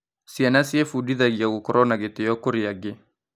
Ciana ciĩbundithagia gũkorwo na gĩtĩo kũrĩ angĩ.